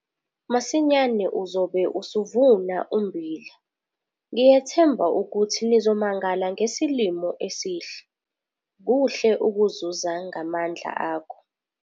Masinyane uzobe usuvuna ummbila - ngiyethemba ukuthi nizomangala ngesilimo esihle - kuhle ukuzuza ngamandla akho.